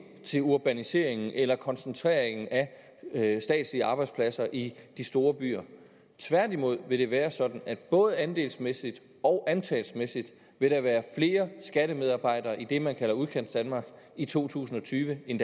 til urbaniseringen eller koncentrationen af statslige arbejdspladser i de store byer tværtimod vil det være sådan at der både andelsmæssigt og antalsmæssigt vil være flere skattemedarbejdere i det man kalder udkantsdanmark i to tusind og tyve end